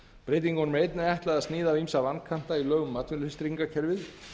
breytingunum er einnig ætlað að sníða af ýmsa vankanta í lögum um atvinnuleysistryggingakerfið